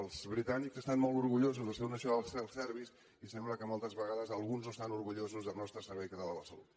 els britànics estan molt orgullosos del seu national health service i sembla que moltes vegades alguns no estan orgullosos del nostre servei català de la salut